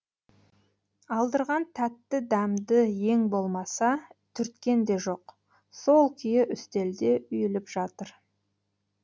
алдырған тәтті дәмді ең болмаса түрткен де жоқ сол күйі үстелде үйіліп жатыр